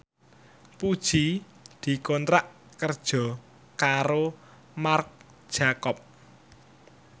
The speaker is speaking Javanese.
Puji dikontrak kerja karo Marc Jacob